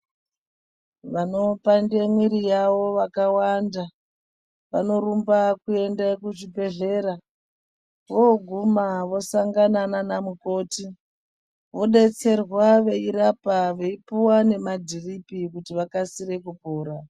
Vanopande mwiri yawo vakawanda, vanorumba kuenda kuzvibhedhlera. Vooguma vosangana nana mukoti. Vodetserwa veirapwa veipuwa nemadhiripi kuti vakasire kupora.